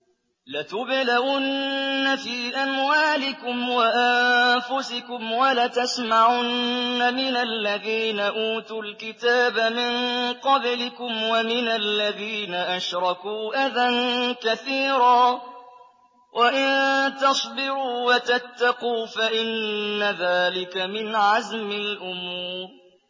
۞ لَتُبْلَوُنَّ فِي أَمْوَالِكُمْ وَأَنفُسِكُمْ وَلَتَسْمَعُنَّ مِنَ الَّذِينَ أُوتُوا الْكِتَابَ مِن قَبْلِكُمْ وَمِنَ الَّذِينَ أَشْرَكُوا أَذًى كَثِيرًا ۚ وَإِن تَصْبِرُوا وَتَتَّقُوا فَإِنَّ ذَٰلِكَ مِنْ عَزْمِ الْأُمُورِ